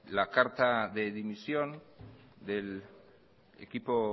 la carta de dimisión del equipo